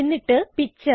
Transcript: എന്നിട്ട് പിക്ചർ